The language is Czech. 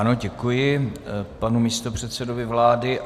Ano, děkuji panu místopředsedovi vlády.